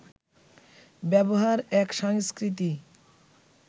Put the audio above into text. ব্যবহার এক সংস্কৃতি